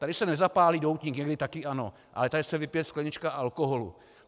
Tady se nezapálí doutník, někdy také ano, ale tady se vypije sklenička alkoholu.